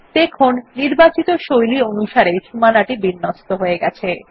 দেখুন নির্বাচিত শৈলী অনুসারে সীমানা বিন্যস্ত হয়ে গেছে